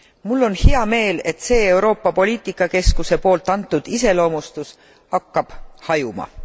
Mul on hea meel, et see Euroopa Poliitika Keskuse poolt antud iseloomustus hakkab hajuma.